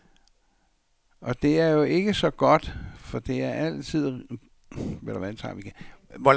Og det er jo ikke så godt, for det er stadig rigtigt, hvad der stod i den allerførste af de mange betænkninger om spørgsmålet.